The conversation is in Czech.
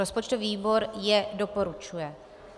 Rozpočtový výbor je doporučuje.